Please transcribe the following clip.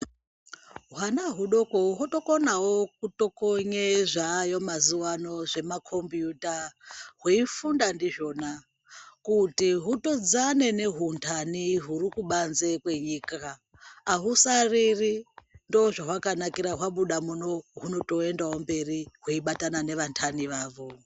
Hwana hwudoto hwotokonawo kutokonye zvaayo mazuwano zvemakombiyuta hweifunda ndizvona kuti hwutodzana nehundanhi huri kubanze kwenyika ahusariri ndozvawakanakira kuti hwabuda muno hunotoendawo mberi hweibatana nevandanhi wavo.